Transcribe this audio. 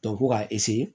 ko k'a